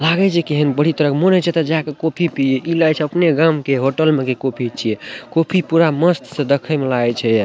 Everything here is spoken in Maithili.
लागे छै कहेन बड़ी तरह के मोन होय छै एता जाका कॉफी पिए इ लागे छै अपने गाम के होटल में कॉफी छीये कॉफी पूरा मस्त से दखे मे लागे छै ये।